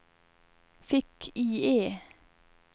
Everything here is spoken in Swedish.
fick-IE